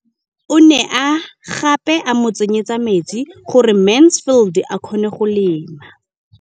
O ne gape a mo tsenyetsa metsi gore Mansfield a kgone go lema.